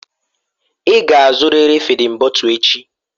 Ị ga-azụrịrị fịdin bọtul echi!